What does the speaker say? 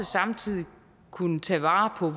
samtidig kunne tage vare på